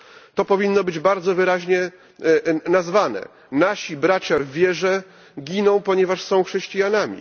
To powinno być bardzo wyraźnie nazwane nasi bracia w wierze giną, ponieważ są chrześcijanami.